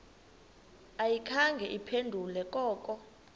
ayikhange iphendule koko